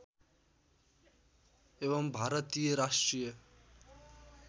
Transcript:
एवं भारतीय राष्ट्रिय